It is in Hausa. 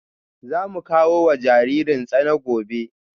Za mu kawo wa jaririn tsana gobe